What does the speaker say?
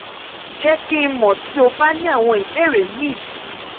jẹ ki n mọ ti o ba ni awọn ibeere mi si